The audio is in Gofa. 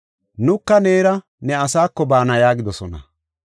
“Nuka neera ne asako baana” yaagidosona.